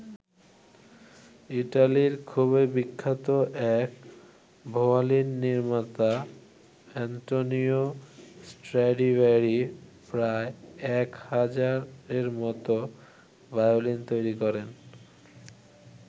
ইটালির খুবই বিখ্যাত এক ভায়োলিন নির্মাতা আন্তোনিও স্ট্র্যাডিভ্যারি প্রায় এক হাজারের মতো ভায়োলিন তৈরি করেন।